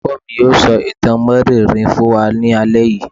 Olùkọ́ mi yóò sọ ìtàn mériìírí fún wa ní alẹ́ yìí.